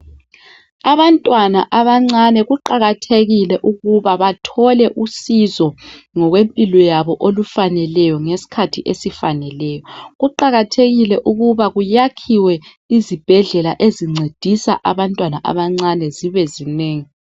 Abantwana abancane kuqakathekile ukuba bathole uncedo ngokwempilo yabo olufaneleyo ngeskhathi esifaneleyo kuqakathekile ukuba kuyakhwe izibhedlela ezincedisa abantwana abancane zibe zinengi.